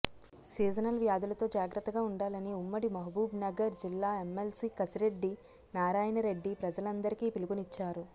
seasonal వ్యాధులతో జాగ్రత్తగా ఉండాలని ఉమ్మడి మహబూబ్ నగర్ జిల్లా ఎమ్మెల్సీ కశిరెడ్డి నారాయణరెడ్డి ప్రజలందరికీ పిలుపునిచ్చారు